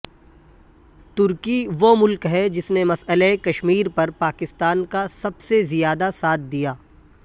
ترکی وہ ملک ہے جس نے مسئلہ کشمیرپر پاکستان کا سب سے زیادہ ساتھ دیا